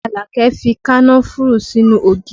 Alake fi kànnáfùrù sínú ògì